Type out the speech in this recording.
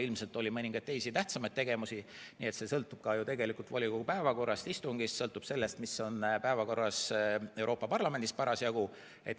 Ilmselt oli mõningaid teisi tähtsamaid tegevusi, nii et see sõltub tegelikult ka volikogu päevakorrast ja istungist, sõltub sellest, mis on Euroopa Parlamendis parasjagu päevakorras.